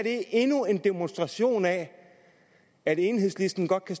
endnu en demonstration af at enhedslisten godt kan